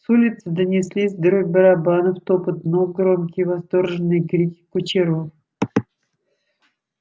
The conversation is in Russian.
с улицы донеслись дробь барабанов топот ног громкие восторженные крики кучеров